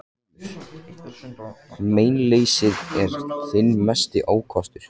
GRÍMUR: Meinleysið er þinn mesti ókostur.